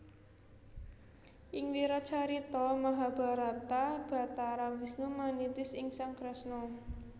Ing wiracarita Mahabharata Bathara Wisnu manitis ing sang Kresna